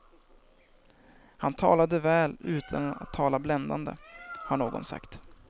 Han talade väl utan att tala bländande, har någon sagt.